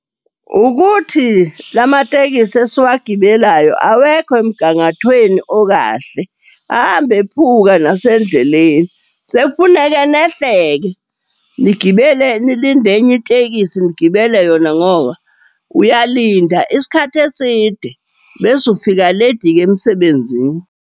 Ukuthi la matekisi esiwagibelayo awekho emgangathweni okahle, ahamba ephuka nasendleleni. Sekufuneke nehle-ke, nigibele, nilinde enye itekisi nigibele yona ngoba uyalinda isikhathi eside, bese ufika ledi-ke emsebenzini.